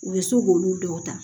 U bɛ se k'olu dɔw ta